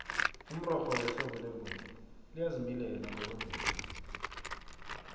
umrorho wehlobo lembuya liyazimilela ngokwemvelo